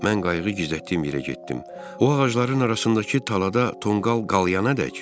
Mən qayğı gizlətdiyim yerə getdim, o ağacların arasındakı talada tonqal qalayana dək.